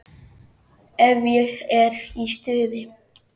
Ef ég er í stuði.